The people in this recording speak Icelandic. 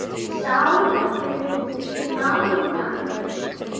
Sjá nánar